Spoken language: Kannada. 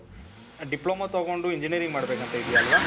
ಡಿಪ್ಲೋಮಾ ತಗೊಂಡು engineering ಮಾಡ್ಬೇಕಂತ ಇದೀಯ ಅಲ್ವ?